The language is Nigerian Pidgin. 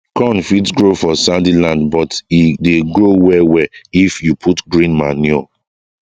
corn fit grow for sandy land but e dey grow well well if you put green manure